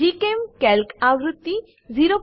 GChemCalc આવૃત્તિ 01210